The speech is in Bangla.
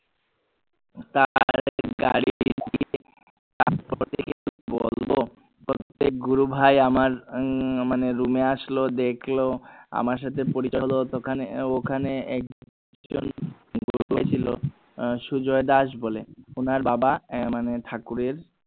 গুরু বাহি আমার উম মানে room আসলো দেখলো আমার সাথে ওখানে সুজয় দাস বলে ওনার বাবা আহ মানে ঠাকুরের